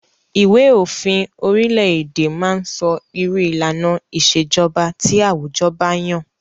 Ìwé òfin orile-èdè máa ń sọ irú ìlànà ìṣèjọba tí àwùjọ ba yàn.